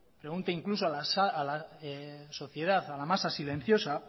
pregunte incluso a la sociedad a la masa silenciosa